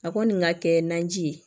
A kɔni ka kɛ naji ye